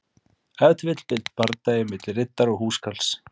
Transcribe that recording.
Ef til vill bardagi milli riddara og húskarls.